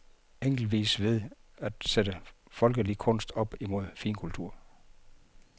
Eksempelvis ved at sætte folkelig kunst op imod finkultur.